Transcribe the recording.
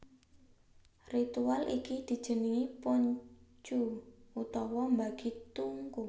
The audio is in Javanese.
Ritual iki dijenengi Pun Chu utawa mbagi tungku